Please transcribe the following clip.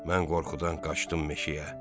Mən qorxudan qaçdım meşəyə.